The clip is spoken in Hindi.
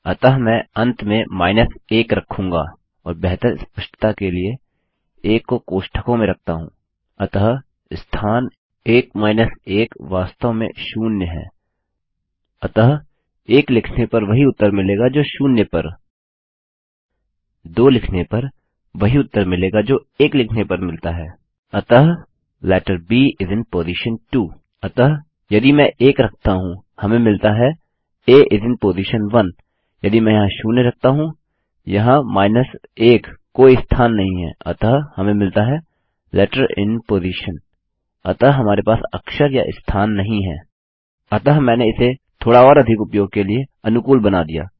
अतः मैंने इसे थोड़ा और अधिक उपयोग के लिए अनुकूल बना दिया